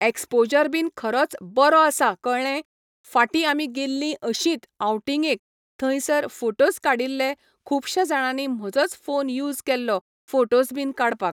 exposure बीन खरोच बरो आसा कळ्ळें फाटीं आमी गेल्लीं अशींत आवटींगेक थंयसर फोटोस काडिल्ले खूबश्यां जाणांनी म्हजोच फोन यूस केल्लो फोटोस बीन काडपाक